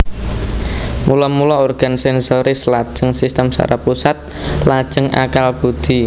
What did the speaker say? Mula mula organ sensoris lajeng sistem saraf pusat lajeng akal budhi